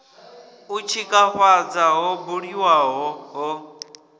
u tshikafhadza ho buliwaho ho